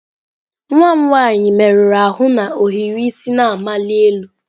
Nwa m nwanyị merụrụ ahụ na ohiri isi na-amali elu.